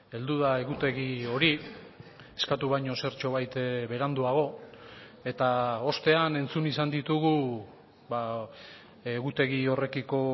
heldu da egutegi hori eskatu baino zertxobait beranduago eta ostean entzun izan ditugu egutegi horrekiko